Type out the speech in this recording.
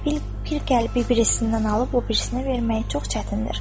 Bir qəlbi birisindən alıb o birisinə vermək çox çətindir.